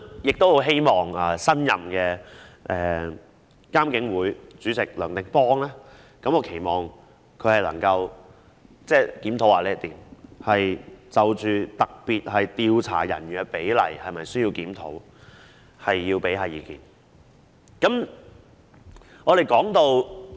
我很希望新任的監警會主席梁定邦能夠檢視這個問題，研究是否需要檢討調查人員與警員的比例。